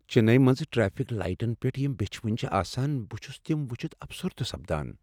چننی منز ٹریفک لایٹن پیٹھ یم بیچھوٕنۍ چھ آسان، بہ چھُس تم وچھِتھ افسردہ سپدان۔